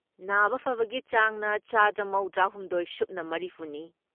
ꯅꯥꯕ ꯐꯕꯒꯤ ꯆꯥꯡꯅ ꯆꯥꯗ ꯃꯧꯗ꯭ꯔꯥ ꯍꯨꯝꯗꯣꯏ ꯁꯨꯞꯅ ꯃꯔꯤꯐꯨ ꯅꯤ ꯫